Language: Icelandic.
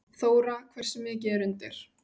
Þóra: Hversu mikið er undir?